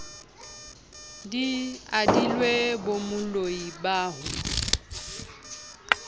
di adilwe bomoloi ba ho